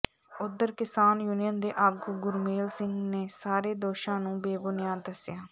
ਉਧਰ ਕਿਸਾਨ ਯੂਨੀਅਨ ਦੇ ਆਗੂ ਗੁਰਮੇਲ ਸਿੰਘ ਨੇ ਸਾਰੇ ਦੋਸ਼ਾਂ ਨੂੰ ਬੇਬੁਨਿਆਦ ਦੱਸਿਆ